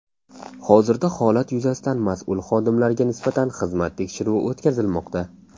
Hozirda holat yuzasidan mas’ul xodimlarga nisbatan xizmat tekshiruvi o‘tkazilmoqda.